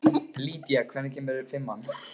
Lýdía, hvenær kemur fimman?